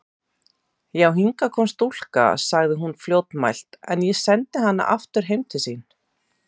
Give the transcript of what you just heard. Já, hingað kom stúlka, sagði hún fljótmælt,-en ég sendi hana aftur heim til sín.